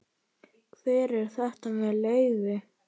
Hver er þetta með leyfi?